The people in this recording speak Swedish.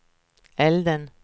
elden